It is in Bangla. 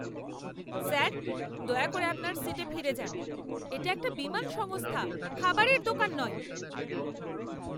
স্যার, দয়া করে আপনার সিটে ফিরে যান। এটা একটা বিমান সংস্থা, খাবারের দোকান নয়!